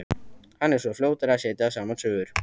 Hann er svo fljótur að setja saman sögurnar.